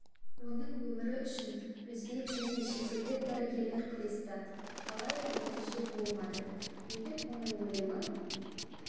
оның өмірі үшін өзбек және шетелдік дәрігерлер күресті алайда нәтиже болмады билік оның өлімі